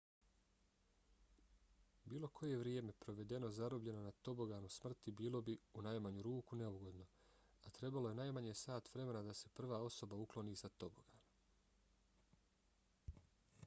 bilo koje vrijeme provedeno zarobljeno na toboganu smrti bilo bi u najmanju ruku neugodno a trebalo je najmanje sat vremena da se prva osoba ukloni sa tobogana.